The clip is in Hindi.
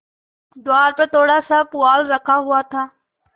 द्वार पर थोड़ासा पुआल रखा हुआ था